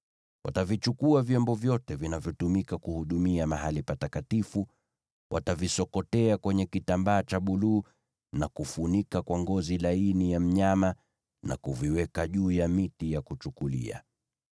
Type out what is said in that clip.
“Watavichukua vyombo vyote vinavyotumika kuhudumia mahali patakatifu, watavisokotea kwenye kitambaa cha buluu na kufunika kwa ngozi za pomboo, na kuviweka juu ya miti ya kuchukulia.